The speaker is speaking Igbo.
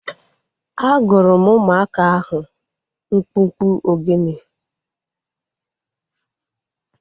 A gụrụ m ụmụaka ahu mkpụmkpụ ogene